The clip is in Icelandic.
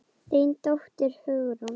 Þín dóttir, Hugrún.